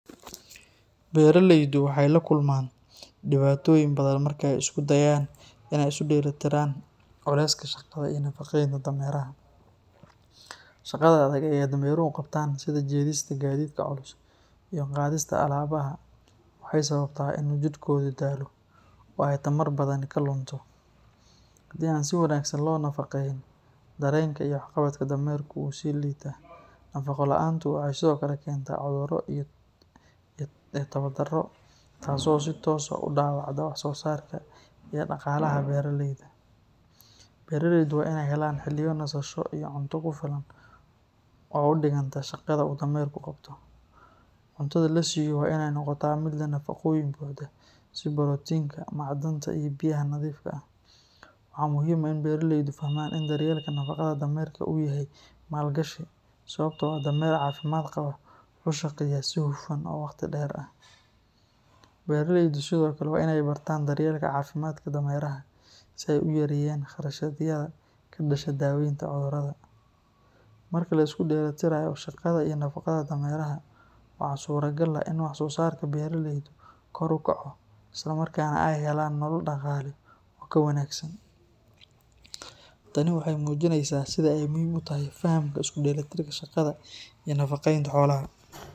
Beraleydu waxay la kulmaan dhibaatooyin badan marka ay isku dayayaan inay isu dheelli tiraan culeyska shaqada iyo nafaqeynta dameraha. Shaqada adag ee ay dameruhu qabtaan, sida jiidista gaadiidka culus iyo qaadista alaabaha, waxay sababtaa in uu jidhkoodu daalo oo ay tamar badani ka lunto. Haddii aan si wanaagsan loo nafaqeyn, dareenka iyo waxqabadka dameerka wuu sii liitaa. Nafaqo la’aantu waxay sidoo kale keentaa cudurro iyo tabar darro, taas oo si toos ah u dhaawacda wax-soosaarka iyo dhaqaalaha beraleyda. Beraleydu waa inay helaan xilliyo nasasho iyo cunto ku filan oo u dhiganta shaqada uu dameerku qabto. Cuntada la siiyo waa inay noqotaa mid leh nafaqooyin buuxa sida borotiinka, macdanta iyo biyaha nadiifka ah. Waxaa muhiim ah in beraleydu fahmaan in daryeelka nafaqada dameerka uu yahay maalgashi, sababtoo ah dameer caafimaad qaba wuxuu shaqeeyaa si hufan oo waqti dheer ah. Beraleydu sidoo kale waa inay bartaan daryeelka caafimaadka dameeraha, si ay u yareeyaan kharashyada ka dhasha daaweynta cudurrada. Marka la isku dheelitirayo shaqada iyo nafaqada dameeraha, waxaa suuragal ah in wax-soosaarka beeralaydu kor u kaco isla markaana ay helaan nolol dhaqaale oo ka wanaagsan. Tani waxay muujinaysaa sida ay muhiim u tahay fahamka isku dheelitirka shaqada iyo nafaqeynta xoolaha.